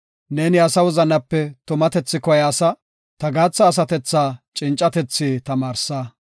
Neeni asa wozanape tumatethi koyaasa; ta gaatha asatethaa cincatethi tamaarsa.